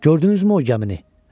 Gördünüzmü o gəmini?